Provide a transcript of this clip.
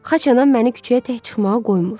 Xaçanam məni küçəyə tək çıxmağa qoymur.